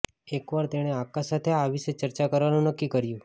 એકવાર તેણે આકાશ સાથે આ વિશે ચર્ચા કરવાનું નક્કી કર્યું